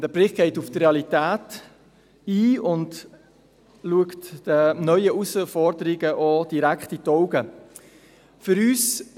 Der Bericht geht auf die Realität ein und blickt auch den neuen Herausforderungen direkt in die Augen.